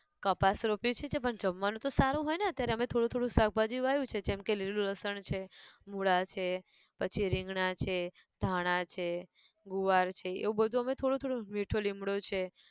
કપાસ રોપ્યું છે પણ જમવાનું તો સારું હોય ને અત્યારે અમે થોડું થોડું શાકભાજી વાયુ છે જેમકે લીલું લસણ છે, મૂળા છે, પછી રીંગણાં છે, ધાણા છે, ગુવાર છે એવું બધું અમે થોડું થોડું મીઠો લીમડો છે